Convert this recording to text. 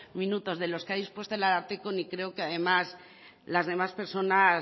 minutos que ha dispuesto el ararteko ni creo que las demás personas